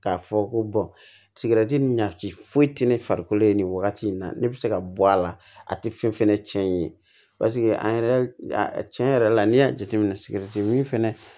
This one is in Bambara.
K'a fɔ ko sigɛrɛti ɲa ci foyi tɛ ne farikolo ye nin wagati in na ne bɛ se ka bɔ a la a tɛ fɛn fɛnɛ cɛn i ye paseke an yɛrɛ tiɲɛ yɛrɛ la n'i y'a jateminɛ sigɛrɛti min fɛnɛ